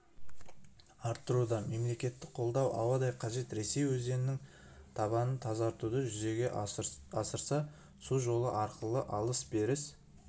арттыруда мемлекеттік қолдау ауадай қажет ресей өзеннің табанын тазартуды жүзеге асырса су жолы арқылы алыс-беріс